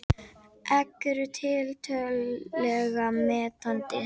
Egg eru tiltölulega mettandi.